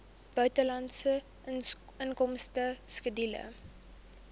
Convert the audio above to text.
buitelandse inkomste skedule